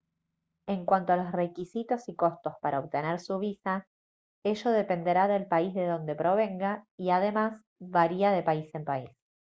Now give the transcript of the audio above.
en cuanto a los requisitos y costos para obtener su visa ello dependerá del país de donde provenga y además varía de país en país